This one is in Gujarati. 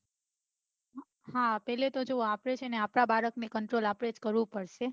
હા પેલા તો જો આપડે છે ને આપડા બાળક ને control આપડે જ કરવું પડશે